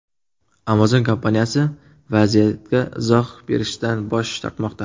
Amazon kompaniyasi vaziyatga izoh berishdan bosh tortmoqda.